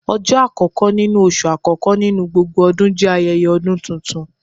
Ọjọ akọkọ nínú oṣú akọkọ nínú gbógbó ọdún jẹ ayẹyẹ ọdún túntún